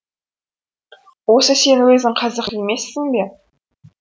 осы сен өзің қазақ емессің бе